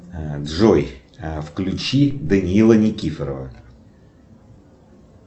джой включи даниила никифорова